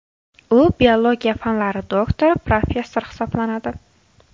U biologiya fanlari doktori, professor hisoblanadi.